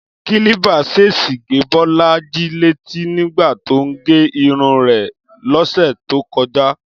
Kílípà ṣèṣì gé Bọ́lájí létí nígbà tó ń gẹ irun rẹ̀ lọ́sẹ̀ tó kọjá